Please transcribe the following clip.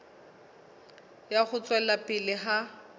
ya ho tswela pele ha